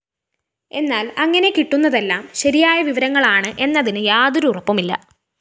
എന്നാല്‍ അങ്ങനെ കിട്ടുന്നതെല്ലാം ശരിയായ വിവരങ്ങളാണെന്നതിന് യാതൊരു ഉറപ്പുമില്ല